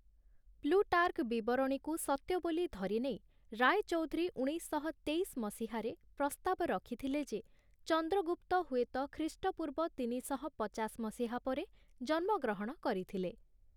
Plutarch ବିବରଣୀକୁ ସତ୍ୟ ବୋଲି ଧରିନେଇ ରାୟଚୌଧୁରୀ ଉଣେଇଶଶହ ତେଇଶ ମସିହାରେ ପ୍ରସ୍ତାବ ରଖିଥିଲେ ଯେ, ଚନ୍ଦ୍ରଗୁପ୍ତ ହୁଏତ ଖ୍ରୀଷ୍ଟପୂର୍ବ ତିନିଶହ ପଚାଶ ମସିହା ପରେ ଜନ୍ମଗ୍ରହଣ କରିଥିଲେ ।